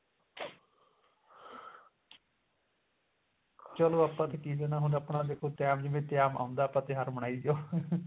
ਚਲੋ ਆਪਾਂ ਤਾਂ ਕੀ ਦੇਣਾ ਹੁੰਦਾ ਆਪਣਾ ਦੇਖੋ time ਜਿਵੇਂ time ਆਉਂਦਾ ਆਪਾਂ ਤਿਉਹਾਰ ਮਨਾਈ ਜਾਓ